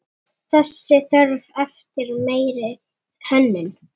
Þessi þörf eftir meiri hönnun.